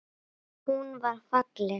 Hún var falleg.